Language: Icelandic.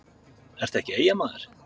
ertu ekki Eyjamaður?